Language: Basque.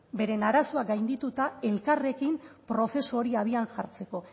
beren arazoak gaindituta elkarrekin prozesu hori abian jartzeko